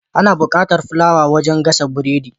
Ana bukatar fulawa wajan gasa biredi